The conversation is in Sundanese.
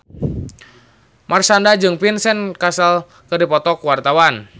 Marshanda jeung Vincent Cassel keur dipoto ku wartawan